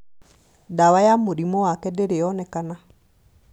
Ndawa ya mũrimũ wake ndĩri yonekana